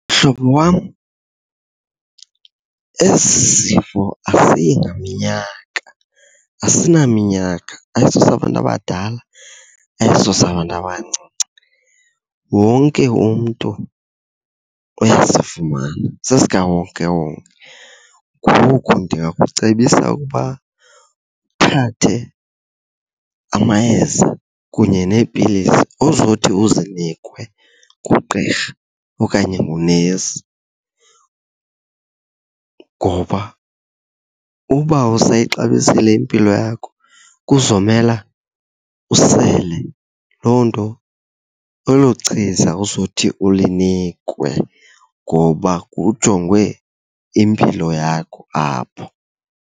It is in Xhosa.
Mhlobo wam, esi sifo asiyi ngaminyaka asinaminyaka, ayisosabantu abadala, ayisosabantu abancinci. Wonke umntu uyasifumana, sesikawonkewonke. Ngoku ndingakucebisa ukuba uthathe amayeza kunye neepilisi ozothi uzinikwe ngugqirha okanye ngunesi. Ngoba uba usayixabisile impilo yakho kuzomela usele loo nto, elo chiza uzothi ulinikwe ngoba kujongwe impilo yakho apho.